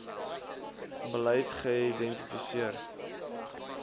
beleid geïdenti seer